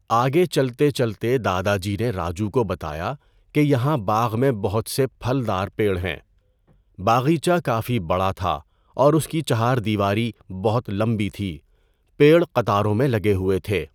آگے چلتے چلتے دادا جی نے راجو کو بتایا کہ یہاں باغ میں بہت سے پھل دار پیڑ ہیں۔ باغیچہ کافی بڑا تھا اور اس کی چہار دیواری بہت لمبی تھی۔ پیڑ قطاروں میں لگے ہوئے تھے۔